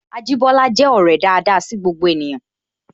Ajibola je ọrẹ daada sí gbogbo ènìyàn